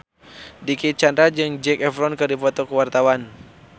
Dicky Chandra jeung Zac Efron keur dipoto ku wartawan